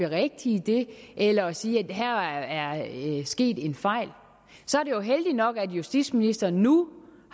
at berigtige det eller at sige at der her er sket en fejl så er det jo heldigt nok at justitsministeren nu